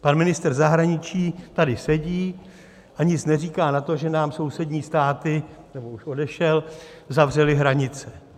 Pan ministr zahraničí tady sedí a nic neříká na to, že nám sousední státy - nebo už odešel - zavřely hranice.